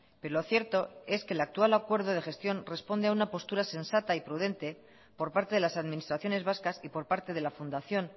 pero lo cierto es que el actual acuerdo de gestión responde a una postura sensata y prudente por parte de las administraciones vascas y por parte de la fundación